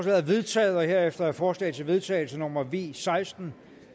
er vedtaget herefter er forslag til vedtagelse nummer v seksten